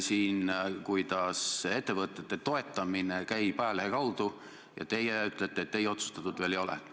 Nii näiteks on Lastekaitse Liidul minu teada ca kuus partnerit selles strateegilise partnerluse projektis.